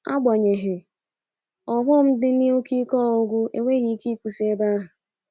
Agbanyeghi, ọghọm di n'ike ọgwụgwụ enweghị ike ịkwusị ebe ahụ